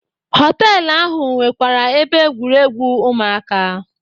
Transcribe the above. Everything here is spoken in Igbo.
Họtelụ ahụ nwekwara ebe egwuregwu ụmụaka.